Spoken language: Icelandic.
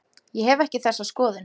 Ég hef ekki þessa skoðun.